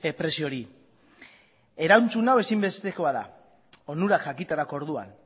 prezio hori erantzun hau ezinbestekoa da onurak jakiterako orduan